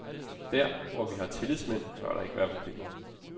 Der, hvor vi har tillidsmænd, bør der ikke være problemer.